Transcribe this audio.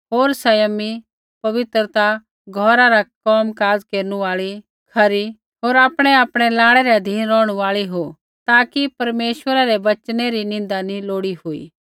होर संयमी पतिव्रता घौरा रा कोम काज़ केरनु आल़ी खरी होर आपणैआपणै लाड़ै रै अधीन रौहणु आल़ी हो ताकि परमेश्वरै रै वचनै री निन्दा नैंई लोड़ी हुई